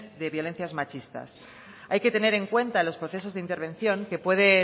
de violencias machistas hay que tener en cuenta en los procesos de intervención que puede